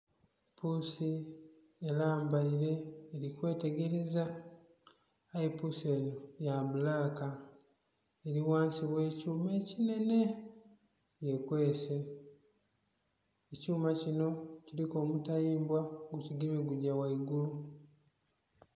Puusi erambaire eri kwetereza aye puusi eno ya bbulaka eri ghansi ghe kyuma ekinene yekwese, ekyuma kino kiriku omutayiimbwa gu kigemye gugya ghaigulu.